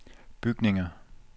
bygninger